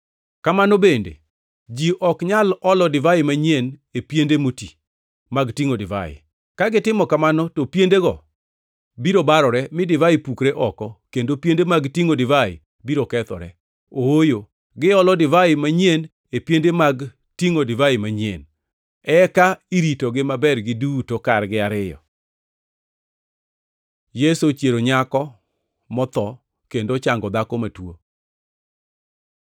Kamano bende, ji ok nyal olo divai manyien e piende moti mag tingʼo divai. Ka gitimo kamano to piendego biro barore, mi divai pukre oko, kendo piende mag tingʼo divai biro kethore. Ooyo, giolo divai manyien e piende mag tingʼo divai manyien, eka iritogi maber giduto kargi ariyo.” Yesu ochiero nyako motho kendo ochango dhako matuo